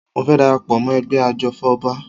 Mo fẹ́ dara pọ̀ mọ́ ẹgbẹ́ ajòfọ́ba